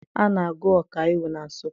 A na-agụ ọkaiwu na Nsụka